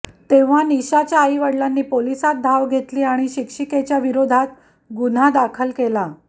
तेव्हा निशाच्या आई वडिलांनी पोलिसांत धाव घेतली आणि शिक्षिकेच्या विरोधात गुन्हा दाखल केला